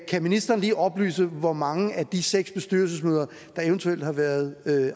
ministeren lige oplyse hvor mange af de seks bestyrelsesmøder der eventuelt har været